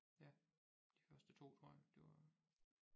Ja de første 2 tror jeg det var